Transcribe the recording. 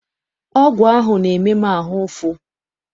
Ọgwụ ahụ na-eme m ahụ ụfụ.